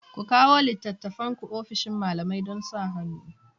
Ku kawo littattafanku ofishin malamai don sa hannu